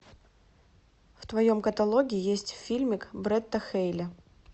в твоем каталоге есть фильмик бретта хейли